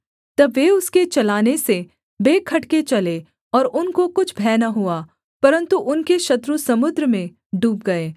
तब वे उसके चलाने से बेखटके चले और उनको कुछ भय न हुआ परन्तु उनके शत्रु समुद्र में डूब गए